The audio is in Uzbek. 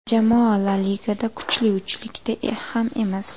Jamoa La Ligada kuchli uchlikda ham emas.